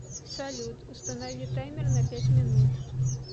салют установи таймер на пять минут